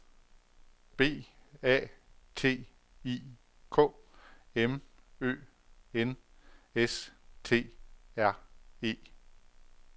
B A T I K M Ø N S T R E